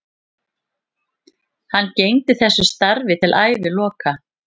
Hann gegndi þessu starfi til æviloka.